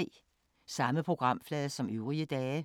Samme programflade som øvrige dage